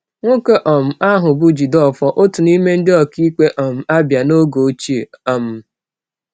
Nwoke um ahụ bụ Jideofor, otu n’ime ndị ọkaikpe um Abia oge ochie. um